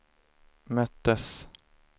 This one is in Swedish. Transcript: möttes